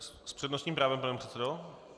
S přednostním právem, pane předsedo?